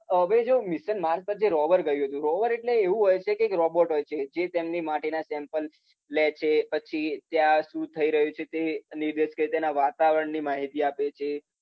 તો હવે જે મિશન માર્સમાં જે રોવર ગયુ તુ. રોવર એટલે એવુ હોય છે કે એક રોબોટ હોય છે કે જેમની માટીના સેમ્પલ્સ લે છે પછી ત્યા શું થઈ રહ્યુ છે તે વેધર કે વાતાવરણની માહીતી આપે છે.